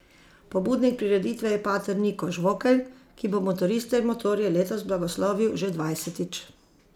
Pobudnik prireditve je pater Niko Žvokelj, ki bo motoriste in motorje letos blagoslovil že dvajsetič.